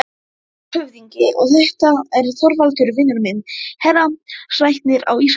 LANDSHÖFÐINGI: Og þetta er Þorvaldur, vinur minn, héraðslæknir á Ísafirði.